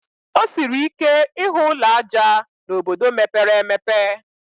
O siri ike ịhụ ụlọ ájá n'obodo mepere emepe